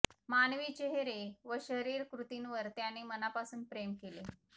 मानवी चेहरे व शरीर कृतींवर त्याने मनापासून प्रेम केले